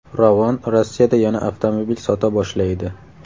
Ravon Rossiyada yana avtomobil sota boshlaydi.